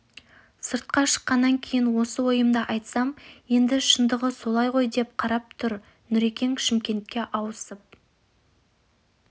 сыртқа шыққаннан кейін осы ойымды айтсам енді шындығы солай ғой деп қарап тұр нүрекең шымкентке ауысып